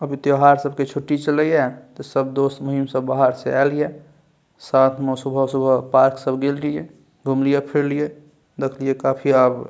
अभी त्यौहार सब के छुट्टी चल हिय त सब दोस्त मिहिम सब बाहर से आयल हिय साथ में सुबह-सुबह पार्क सब गेलीये घुमलिये फिरलिये देखलिये काफी अब --